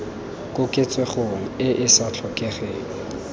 koketsegong e e sa tlhokegeng